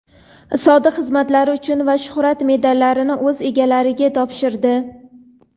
"Sodiq xizmatlari uchun" va "Shuhrat" medallarini o‘z egalariga topshirdi.